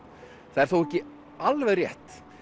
það er þó ekki alveg rétt